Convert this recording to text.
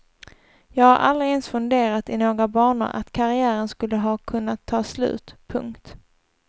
Jag har aldrig ens funderat i några banor att karriären skulle ha kunnat ta slut. punkt